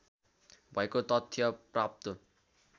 भएको तथ्य प्राप्त